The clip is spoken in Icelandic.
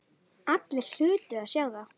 Allir hlutu að sjá það.